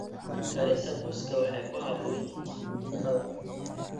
Karinta muusku waxay ku habboon yihiin cuntada.